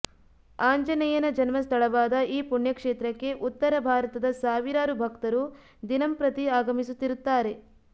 ಆಂಜನೇಯನ ಜನ್ಮಸ್ಥಳವಾದ ಈ ಪುಣ್ಯಕ್ಷೇತ್ರಕ್ಕೆ ಉತ್ತರ ಭಾರತದ ಸಾವಿರಾರು ಭಕ್ತರು ದಿನಂಪ್ರತಿ ಆಗಮಿಸುತ್ತಿರುತ್ತಾರೆ